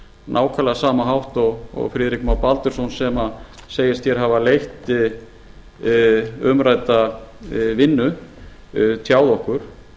nákvæmlega á sama hátt og friðrik már baldursson sem segist hér hafa leitt umrædda vinnu tjáði okkur